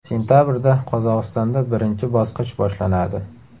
Sentabrda Qozog‘istonda birinchi bosqich boshlanadi.